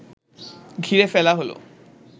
ঘিরে ফেলা হলো